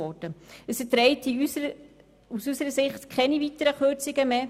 Aus unserer Sicht verträgt es keine weiteren Kürzungen mehr.